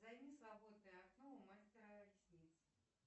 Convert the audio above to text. займи свободное окно у мастера ресниц